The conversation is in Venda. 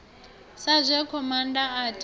sa zwe khomanda a tisa